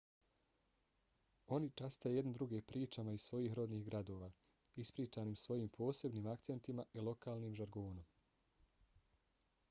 oni časte jedni druge pričama iz svojih rodnih gradova ispričanim svojim posebnim akcentima i lokalnim žargonom